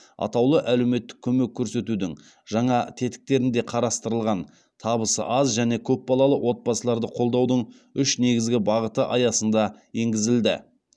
атаулы әлеуметтік көмек көрсетудің жаңа тетіктерінде қарастырылған табысы аз және көпбалалы отбасыларды қолдаудың үш негізгі бағыты аясында еңгізілді